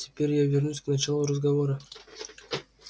теперь я вернусь к началу разговора